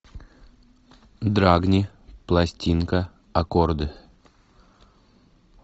драгни пластинка аккорды